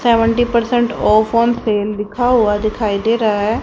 Seventy percent off on sale लिखा हुआ दिखाई दे रहा है।